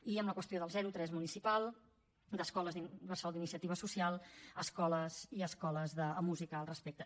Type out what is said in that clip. i en la qüestió del zero tres municipal d’escoles bressol d’iniciativa social i escoles de música al respecte